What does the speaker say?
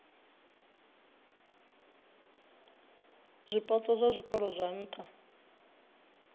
zwipotso zwa zwikolo zwa nha